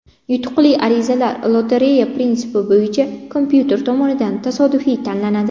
Yutuqli arizalar lotereya prinsipi bo‘yicha kompyuter tomonidan tasodifiy tanlanadi.